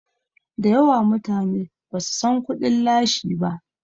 dayawa mutane ba su San kudin lashi ba